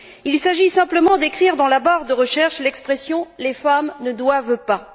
Il s'agit simplement d'écrire dans la barre de recherche l'expression les femmes ne doivent pas.